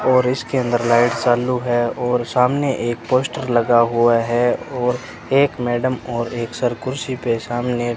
और इसके अंदर लाइट चालू है और सामने एक पोस्टर लगा हुआ है और एक मैडम और एक सर कुर्सी पे सामने --